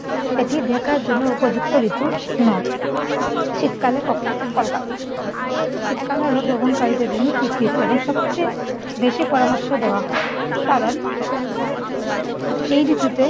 এটি দেখার জন্য উপযুক্ত ঋতু নয়। শীতকালে ক কলকাতা। শীতকাল হলো ভ্রমণকারীদের জন্য বিকৃত এবং সবচেয়ে বেশি পরামর্শ দেওয়া হয়। কারণ এই ঋতুতে